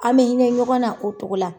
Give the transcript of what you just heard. An bɛ hinɛ ɲɔgɔn na o ko cogo la.